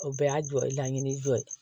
O bɛɛ y'a jɔ laɲini dɔ ye